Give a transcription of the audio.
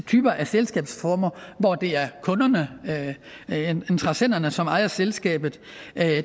typer af selskaber hvor det er kunderne interessenterne som ejer selskabet